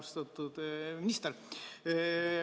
Austatud minister!